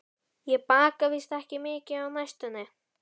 Ég baka víst ekki mikið á næstunni.